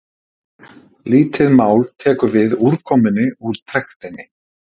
Lítið mál tekur við úrkomunni úr trektinni.